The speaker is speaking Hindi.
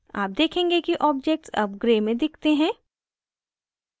आप देखेंगे कि objects अब grey में दिखते हैं